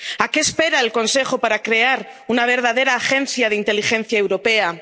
¿A qué espera el Consejo para crear una verdadera agencia de inteligencia europea?